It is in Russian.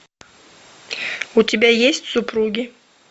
у тебя есть супруги